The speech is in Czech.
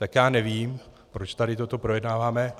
Tak já nevím, proč tady toto projednáváme.